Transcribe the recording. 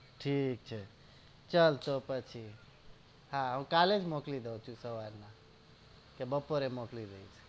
ઠીક છે ચાલ ચોકસ થી હા કાલે જ મોકલી દઉ છુ સવાર માં કે બપોરે મોકલી દઈશ